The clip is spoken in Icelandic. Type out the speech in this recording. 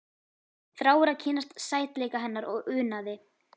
Þráir að kynnast sætleika hennar og unaði.